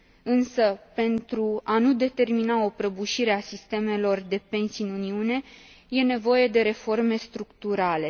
Însă pentru a nu determina o prăbușire a sistemelor de pensii în Uniune, e nevoie de reforme structurale.